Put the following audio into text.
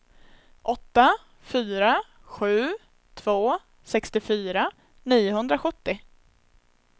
åtta fyra sju två sextiofyra niohundrasjuttio